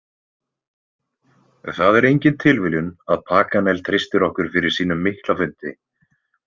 Það er engin tilviljun að Paganel treystir okkur fyrir sínum mikla fundi.